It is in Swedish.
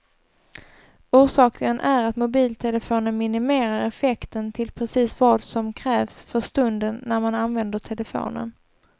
Orsaken är att mobiltelefonen minimerar effekten till precis vad som krävs för stunden när man använder telefonen.